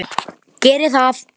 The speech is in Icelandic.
Geri það.